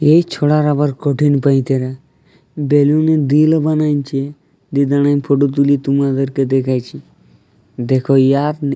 এই ছোড়ার আবার কঠিন পায়তারা। বেলুনের দিল বানাইছে। দিয়ে দাঁড়ায়ে ফটো তুলে তোমাদের দেখাইছে। দেখো ইয়ার --